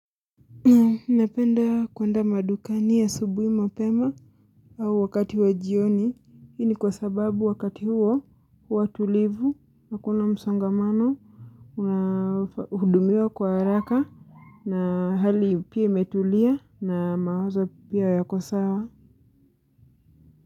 Napenda kwenda madukani asubui mapema au wakati wa jioni hii ni kwasababu wakati huo huwa tulivu hakuna msongamano unahudumiwa kwa haraka na hali pia imetulia na mawazo pia yako sawa.